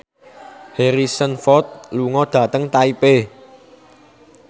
Harrison Ford lunga dhateng Taipei